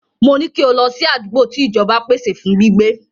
Mo ní kí o lọ sí àdúgbò tí ìjọba pèsè fún gbígbé.